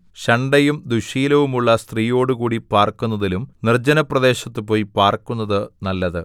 ശണ്ഠയും ദുശ്ശീലവുമുള്ള സ്ത്രീയോടുകൂടി പാർക്കുന്നതിലും നിർജ്ജനപ്രദേശത്ത് പോയി പാർക്കുന്നത് നല്ലത്